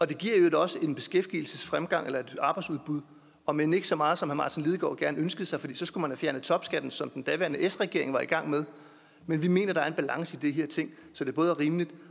det giver i øvrigt også en beskæftigelsesfremgang eller et arbejdsudbud om end ikke så meget som herre martin lidegaard gerne ønskede sig for så skulle man have fjernet topskatten som den daværende s regering var i gang med men vi mener at der er en balance i de her ting så det både er rimeligt